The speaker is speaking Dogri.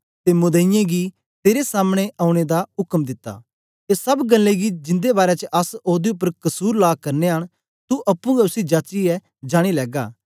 ते मुदईयें गी तेरे सामनें औने दा उक्म दित्ता ए सब गल्लें गी जिंदे बारै च अस ओदे उपर कसुर ला करनयां न तू अप्पुं गै उसी जाचियै जानी लैगा